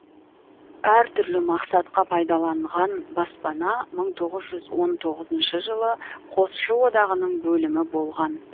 әртүрлі мақсатқа пайдаланған баспана мың тоғыз жүз он тоғызыншы жылы қосшы одағының бөлімі болған